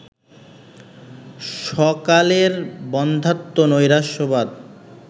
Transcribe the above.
স্বকালের বন্ধ্যাত্ব, নৈরাশ্যবাদ